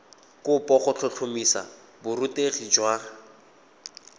kopo go tlhotlhomisa borutegi jwa